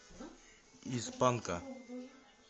из панка